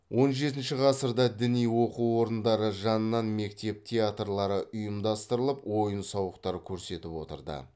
он жетінші ғасырда діни оқу орындары жанынан мектеп театрлары ұйымдастырылып ойын сауықтар көрсетіп отырды